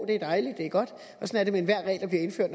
det er dejligt det er godt